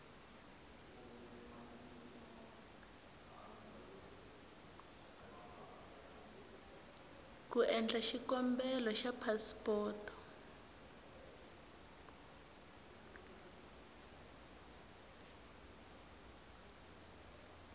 ku endla xikombelo xa phasipoto